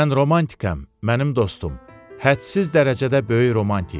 Mən romantikəm, mənim dostum, hədsiz dərəcədə böyük romantik.